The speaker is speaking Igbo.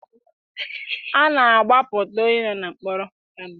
A na-agbapụta onye nọ na mkpọrọ.